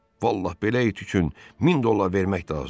Vallahi, belə it üçün 1000 dollar vermək də azdır.